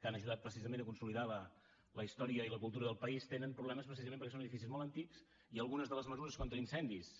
que han ajudat precisament a consolidar la història i la cultura del país tenen problemes precisament perquè són edificis molt antics i algunes de les mesures contra incendis